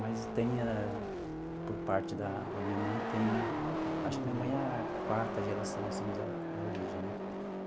Mas tem, por parte da da minha mãe, tem... Acho que minha mãe é a quarta geração, assim, da da origem, né?